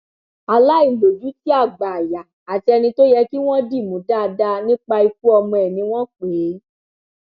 aláìlójútì àgbáàyà àti ẹni tó yẹ kí wọn dì mú dáadáa nípa ikú ọmọ ẹ ni wọn pè é